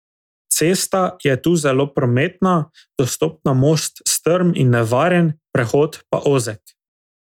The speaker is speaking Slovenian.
Cesta je tu zelo prometna, dostop na most strm in nevaren, prehod pa ozek.